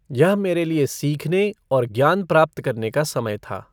यह मेरे लिए सीखने और ज्ञान प्राप्त करने का समय था।